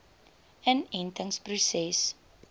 inentingproses